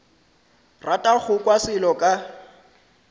rata go kwa selo ka